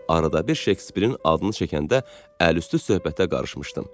Arada bir Şekspirin adını çəkəndə əliüstü söhbətə qarışmışdım.